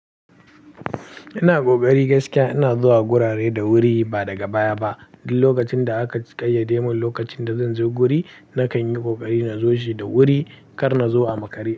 Ina ƙoƙari gaskiya ina zuwa gurare da wuri ba daga baya ba. Duk lokacin da aka ƙayyade mun lokacin da zan zo guri nakan yi ƙoƙari na zo shi da wuri kar na zo a makare.